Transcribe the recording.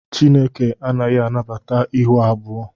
Chineke anaghị anabata ịhụ abụọ